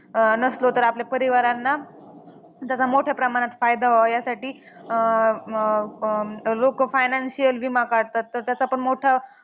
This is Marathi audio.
अं नसलो तर आपल्या परिवारांना त्याचा मोठ्या प्रमाणात फायदा व्हावा, यासाठी अं लोकं financial विमा काढतात. तर त्याचा पण मोठा